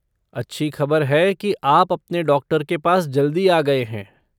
अच्छी खबर है कि आप अपने डॉक्टर के पास जल्दी आ गए हैं।